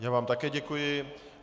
Já vám také děkuji.